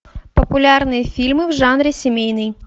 популярные фильмы в жанре семейный